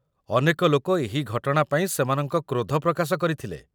ଅନେକ ଲୋକ ଏହି ଘଟଣା ପାଇଁ ସେମାନଙ୍କ କ୍ରୋଧ ପ୍ରକାଶ କରିଥିଲେ